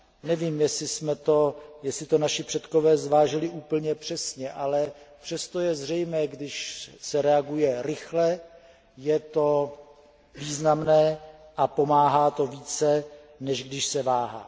Nevím jestli to naši předkové zvážili úplně přesně, ale přesto je zřejmé, že když se reaguje rychle, je to významné a pomáhá to více, než když se váhá.